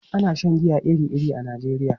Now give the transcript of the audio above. Ana shan giya iri-iri a Najeriya.